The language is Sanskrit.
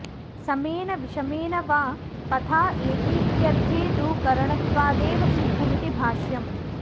समेन विषमेण वा पथा एतीत्यर्थे तु करणत्वादेव सिद्धमिति भाष्यम्